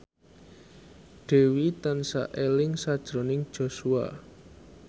Dewi tansah eling sakjroning Joshua